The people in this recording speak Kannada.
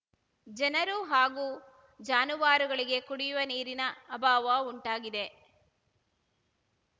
ಜನರು ಹಾಗೂ ಜಾನುವಾರುಗಳಿಗೆ ಕುಡಿಯುವ ನೀರಿನ ಅಭಾವ ಉಂಟಾಗಿದೆ